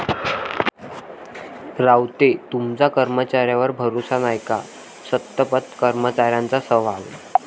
रावते तुमचा कर्मचाऱ्यांवर भरोसा नाय का?,संतप्त कर्मचाऱ्यांचा सवाल